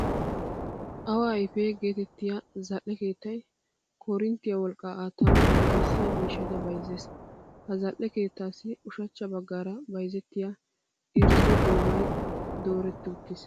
Awaa ayife geetettiya zal"e keettay koorinttiya wolqqa aattanawu danddayissiya miishshata bayizzees. Ha zal"e keettaassi ushachcha baggaara bayizettiya irzzo goomay dooretti uttiis.